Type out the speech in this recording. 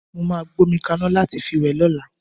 Mó máa gbómi kaná láti fi wẹ̀ lọ́la.